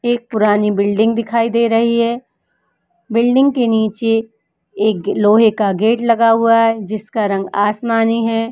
एक पुरानी बिल्डिंग दिखाई दे रही है। बिल्डिंग के नीचे एक लोहे का गेट लगा हुआ है जिसका रंग आसमानी है।